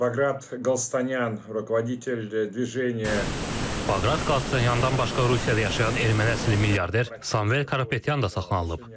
Baqrat Qalstanyandan başqa Rusiyada yaşayan erməni əsilli milyarder Samuel Karapetyan da saxlanılıb.